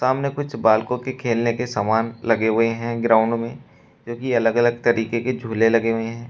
सामने कुछ बालकों की खेलने के समान लगे हुए हैं ग्राउंड में जोकि अलग अलग तरीके के झूले लगे हुए हैं।